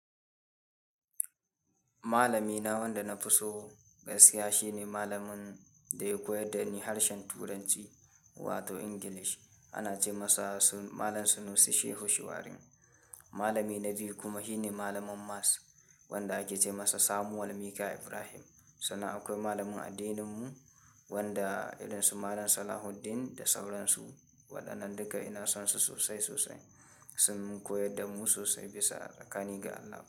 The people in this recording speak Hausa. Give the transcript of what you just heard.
Malami na wanda na fi so gaskiya shine malamin da ya koyar da ni harshen Turanci wato English. Ana ce masa malam Sunusi Shehu Shuwarin. Malami na biyu kuma shine malamin maths wanda ake ce masa Samuel Mika ibrahim. Sannan akwai malamin addininmu wanda irin su malam Salahuddin da sauransu. Wadannan duka ina son su sosai sosai. Sun mun koyar da mu sosai bisa sakani ga Allah.